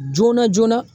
Joona joonana